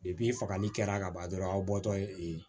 fagali kɛra ka ban dɔrɔn aw bɔtɔ ye